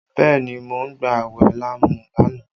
Bẹẹ ni, mo ń gba awẹ lámúlánà